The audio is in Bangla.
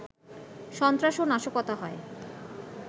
সন্ত্রাস ও নাশকতা হয়